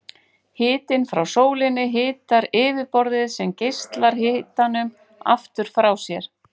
Hitinn frá sólinni hitar yfirborðið sem geislar hitanum aftur frá sér.